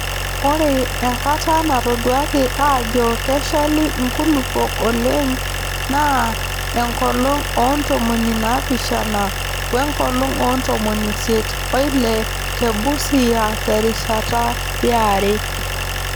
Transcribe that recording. Ore enkata natoduaaki aajo keshali nkulupuok oleng naa enkolong oo ntomoni naapishana we nkolong oo ntomoni isiet oile te Busia terishata yare.